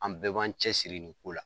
An bɛɛ b'an cɛsiri nin ko la.